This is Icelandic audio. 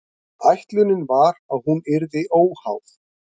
Ætlunin var að hún yrði óháð